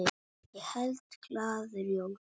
Ég held glaður jól.